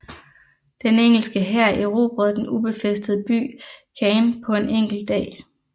Den engelske hær erobrede den ubefæstede by Caen på en enkelt dag